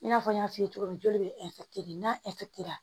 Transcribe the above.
I n'a fɔ n y'a f'i ye cogo min joli bɛ kelen n'a ra